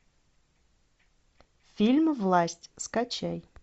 фильм власть скачай